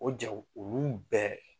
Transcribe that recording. O jaw olu bɛɛ